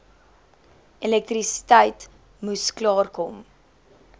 elektrisiteit moes klaarkom